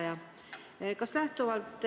Hea vastaja!